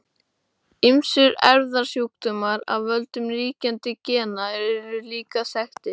Ýmsir erfðasjúkdómar af völdum ríkjandi gena eru líka þekktir.